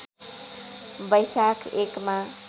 वैशाख १ मा